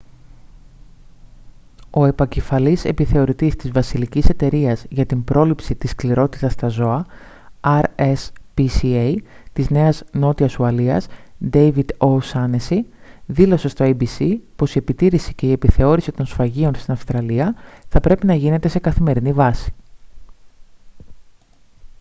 ο επικεφαλής επιθεωρητής της βασιλικής εταιρείας για την πρόληψη της σκληρότητας στα ζώα rspca της νέας νότιας ουαλίας ντέιβιντ ο' σάνεσσι δήλωσε στο abc πως η επιτήρηση και η επιθεώρηση των σφαγείων στην αυστραλία θα πρέπει να γίνεται σε καθημερινή βάση